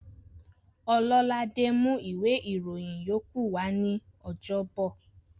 Ọlọ́ládé mú ìwé ìròyìn yókù wa ní ọjọ́bọ̀